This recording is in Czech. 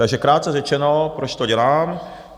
Takže krátce řečeno, proč to dělám?